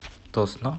тосно